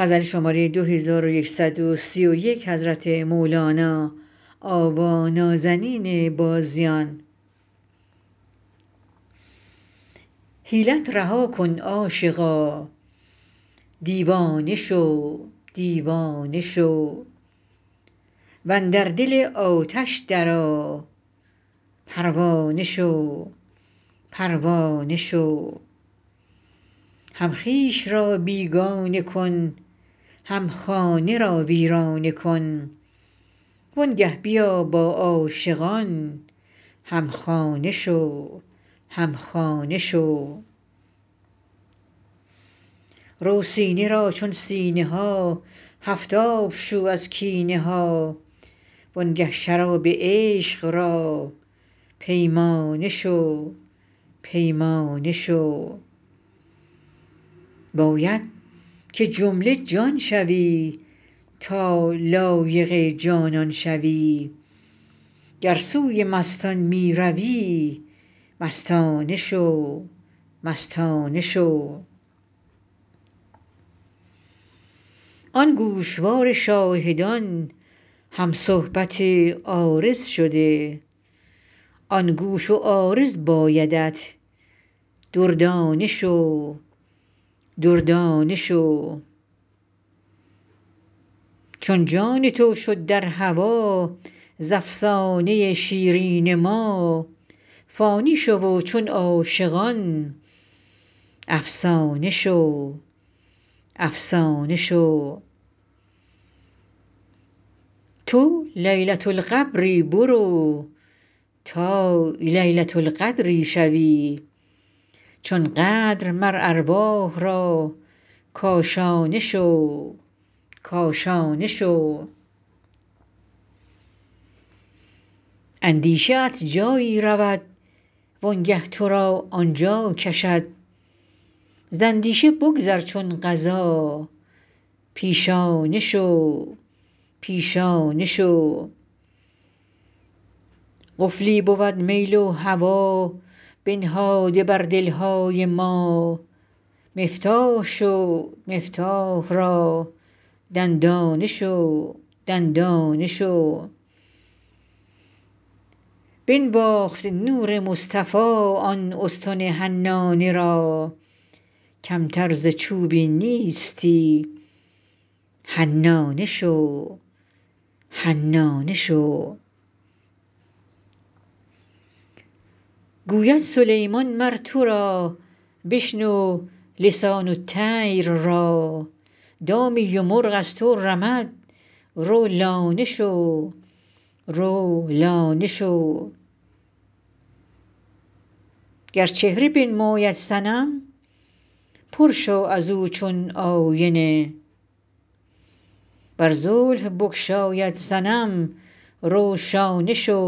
حیلت رها کن عاشقا دیوانه شو دیوانه شو و اندر دل آتش درآ پروانه شو پروانه شو هم خویش را بیگانه کن هم خانه را ویرانه کن وآنگه بیا با عاشقان هم خانه شو هم خانه شو رو سینه را چون سینه ها هفت آب شو از کینه ها وآنگه شراب عشق را پیمانه شو پیمانه شو باید که جمله جان شوی تا لایق جانان شوی گر سوی مستان می روی مستانه شو مستانه شو آن گوشوار شاهدان هم صحبت عارض شده آن گوش و عارض بایدت دردانه شو دردانه شو چون جان تو شد در هوا ز افسانه ی شیرین ما فانی شو و چون عاشقان افسانه شو افسانه شو تو لیلة القبری برو تا لیلة القدری شوی چون قدر مر ارواح را کاشانه شو کاشانه شو اندیشه ات جایی رود وآنگه تو را آن جا کشد ز اندیشه بگذر چون قضا پیشانه شو پیشانه شو قفلی بود میل و هوا بنهاده بر دل های ما مفتاح شو مفتاح را دندانه شو دندانه شو بنواخت نور مصطفی آن استن حنانه را کمتر ز چوبی نیستی حنانه شو حنانه شو گوید سلیمان مر تو را بشنو لسان الطیر را دامی و مرغ از تو رمد رو لانه شو رو لانه شو گر چهره بنماید صنم پر شو از او چون آینه ور زلف بگشاید صنم رو شانه شو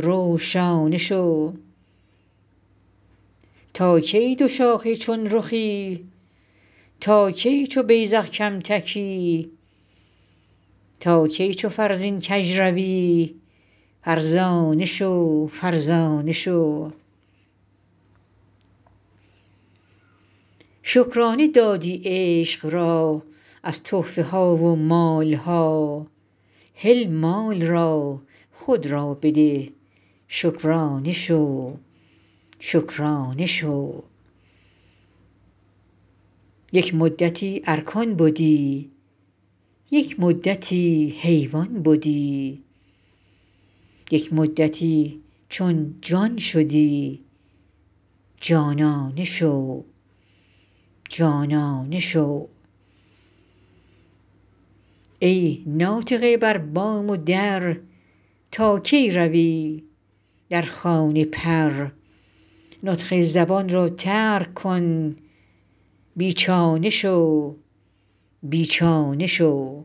رو شانه شو تا کی دوشاخه چون رخی تا کی چو بیذق کم تکی تا کی چو فرزین کژ روی فرزانه شو فرزانه شو شکرانه دادی عشق را از تحفه ها و مال ها هل مال را خود را بده شکرانه شو شکرانه شو یک مدتی ارکان بدی یک مدتی حیوان بدی یک مدتی چون جان شدی جانانه شو جانانه شو ای ناطقه بر بام و در تا کی روی در خانه پر نطق زبان را ترک کن بی چانه شو بی چانه شو